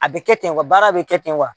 A bɛ kɛ ten wa baara bɛ kɛ ten wa